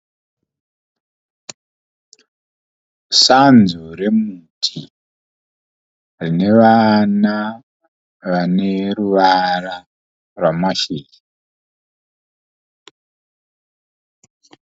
Sanzu remuti rinevana vaneruvara rwamashizha